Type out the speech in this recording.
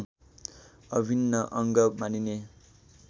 अभिन्न अङ्ग मानिने